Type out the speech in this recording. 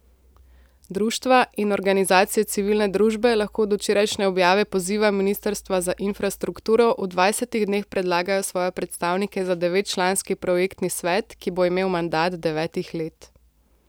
Društva, in organizacije civilne družbe lahko od včerajšnje objave poziva ministrstva za infrastrukturo v dvajsetih dneh predlagajo svoje predstavnike za devetčlanski projektni svet, ki bo imel mandat devetih let.